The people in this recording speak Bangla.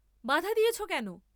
বাধা দিয়েছ কেন?